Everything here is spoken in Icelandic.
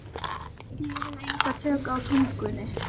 Ég hef engin tök á tungunni.